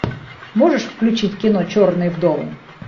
можешь включить кино черные вдовы